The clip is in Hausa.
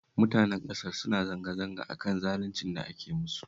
Mutanen ƙasar suna zanga-zanga a kan zaluncin da ake musu